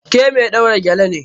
Ke mai ɗaura gele ne?